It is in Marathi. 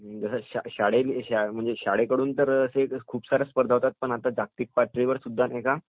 शाळेकडून तर खूप साऱ्या स्पर्धा होतात पण आता जागतिक पातळीवरसुद्धा